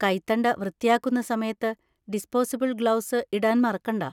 കൈത്തണ്ട വൃത്തിയാക്കുന്ന സമയത്ത് disposable gloves ഇടാൻ മറക്കണ്ട.